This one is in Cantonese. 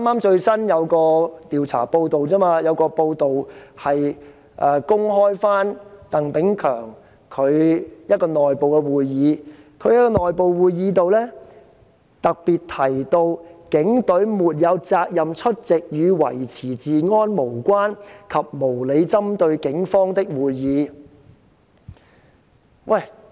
剛有一項最新的報道，指鄧炳強在一個內部會議中特別提到，警方沒有責任出席與維持治安無關和無理針對警方的會議。